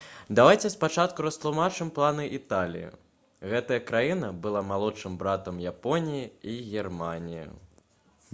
давайце спачатку растлумачым планы італіі. гэтая краіна была «малодшым братам» японіі і германіі